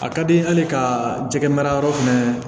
A ka di n ye hali ka jɛgɛ mara yɔrɔ fɛnɛ